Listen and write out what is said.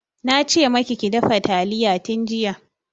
Na ce maki ki dafa talliya tun jiya.